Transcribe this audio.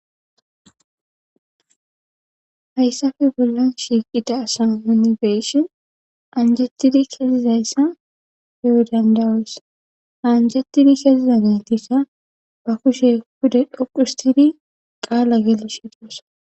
Hayssafe bollan shiiqida asa munibeyishin anjettidi keesizayssa hewo dandawees anjettidi keeziza ne tiisa ba kushe hude dhoqustidi qaala geli shidossa.